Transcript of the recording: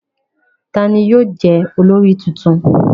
Ta ni yóò jẹ́ olórí tuntun?